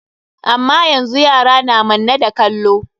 Amma yanzu yara na manne da kallo.